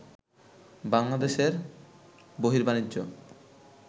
বাংলাদেশের বহির্বাণিজ্য